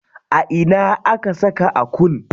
A ina aka saka Akun?